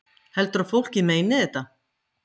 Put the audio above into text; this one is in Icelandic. Heldurðu að fólkið meini þetta?